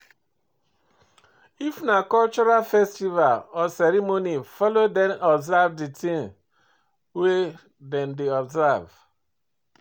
If na cultural festival or ceremony follow them observe di things wey dem dey observe